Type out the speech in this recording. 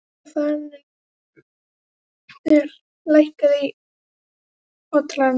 Natanael, lækkaðu í hátalaranum.